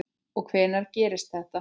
Og hvenær gerðist þetta?